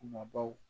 Kumabaw